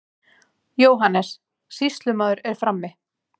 JÓHANNES: Sýslumaður er frammi.